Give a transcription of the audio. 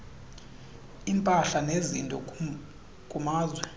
impahla nezinto kumazwe